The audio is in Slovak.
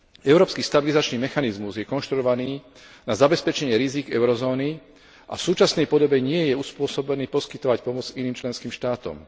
Európsky stabilizačný mechanizmus je konštruovaný na zabezpečenie rizík eurozóny a v súčasnej podobe nie je uspôsobený poskytovať pomoc iným členským štátom.